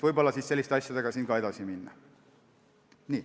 Võib-olla tuleks selliste asjadega edasi minna.